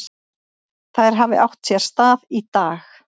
Þær hafi átt sér stað í dag.